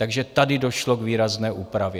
Takže tady došlo k výrazné úpravě.